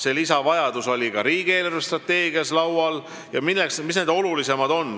See lisavajadus oli ka riigi eelarvestrateegia arutelul kõne all.